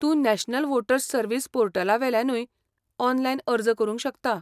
तूं national voters service पोर्टलावेल्यानूय online अर्ज करूंक शकता.